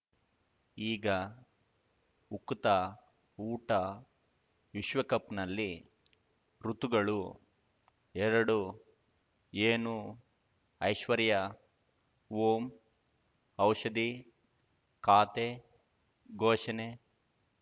ಈಗ ಉಕುತ ಊಟ ವಿಶ್ವಕಪ್‌ನಲ್ಲಿ ಋತುಗಳು ಎರಡು ಏನು ಐಶ್ವರ್ಯಾ ಓಂ ಔಷಧಿ ಖಾತೆ ಘೋಷಣೆ